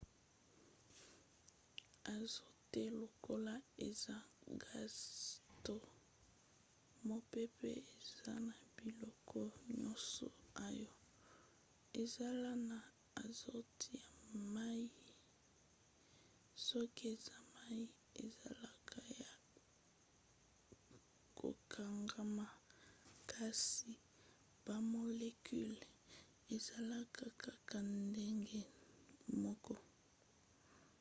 azote lokola eza gaz to mopepe eza na biloko nyonso oyo ezala na azote ya mai. soki eza mai ezalaka ya kokangama kasi bamolecule ezalaka kaka ndenge moko